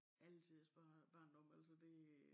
Alletiders barn barndom altså det